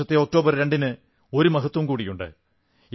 ഈ വർഷത്തെ ഒക്ടോബർ 2 ന് ഒരു മഹത്വം കൂടിയുണ്ട്